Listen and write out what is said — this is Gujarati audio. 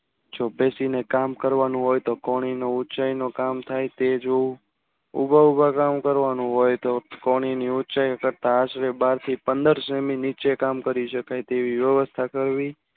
જો પેશી ને કામ કરવું હોય તો કણો ને ઉંચાઈનો કામ થાય તે જોવું ઉભા ઉભા કામ કરવાનું હોય તો કળો ની ઉંચાઈ તાજવે બાર થી પંદર જાણ ની નીચે કામ કરી શકાય એવી વ્યવસ્થા કરવી